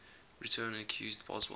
return accused boswell